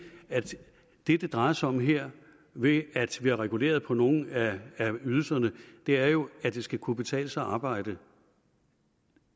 at det det drejer sig om her ved at vi har reguleret på nogle af ydelserne er jo at det skal kunne betale sig at arbejde